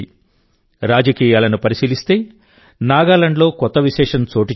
రాజకీయాలను పరిశీలిస్తే నాగాలాండ్లో కొత్త విశేషం చోటుచేసుకుంది